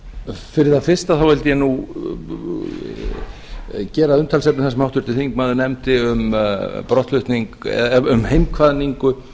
fyrir það fyrsta vildi ég nú gera að umtalsefni það sem háttvirtur þingmaður nefndi um heimkvaðningu